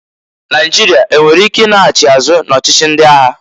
Naịjịrịa enwere ike i laghachi azụ na-ọchịchị ndị agha?